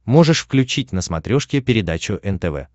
можешь включить на смотрешке передачу нтв